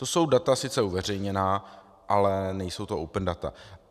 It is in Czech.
To jsou data sice uveřejněná, ale nejsou to open data.